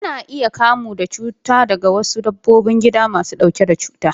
Ana iya kamuwa da cuta daga wasu dabbobin gida masu ɗauke da cuta.